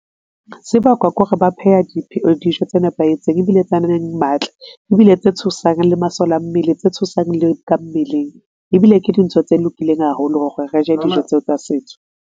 Se bakwa ke hore ba pheha dijo tse nepahetseng, ebile tse nang le matla ebile tse thusang le masole a mmele, tse thusang le ka mmeleng. Ebile ke dintho tse lokileng haholo hore re je dijo tseo tsa setso.